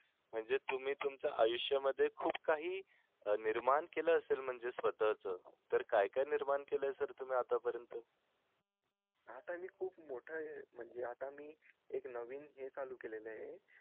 म्हणजे तुम्ही तुमच्या आयुष्या मध्ये खूप काही निर्माण केलं असेल म्हणजे स्वतः च तर काय काय निर्माण केलाय तुम्ही आता पर्यंत तुम्ही आता हे खूप मोठं ये म्हणजे आता मी एक नवीन हे चालू केलेलं ये